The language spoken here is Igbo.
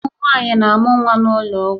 Ụmụ nwanyị na-amụ nwa n'ụlọ ọgwụ